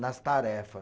nas tarefa.